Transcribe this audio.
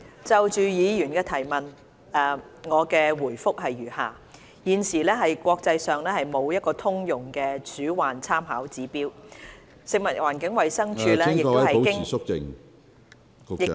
主席，就議員的質詢，我的答覆如下：一現時國際上沒有通用的鼠患參考指標，食物環境衞生署......